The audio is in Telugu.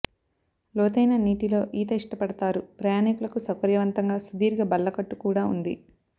లోతైన నీటిలో ఈత ఇష్టపడతారు ప్రయాణీకులకు సౌకర్యవంతంగా సుదీర్ఘ బల్లకట్టు కూడా ఉంది